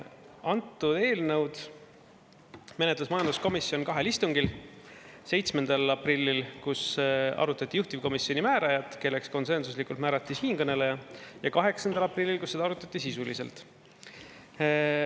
Antud eelnõu menetles majanduskomisjon kahel istungil, 7. aprillil, kus arutati juhtivkomisjoni määrajat, kelleks konsensuslikult määrati siinkõneleja, ja 8. aprillil, kus seda arutati sisuliselt.